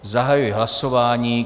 Zahajuji hlasování.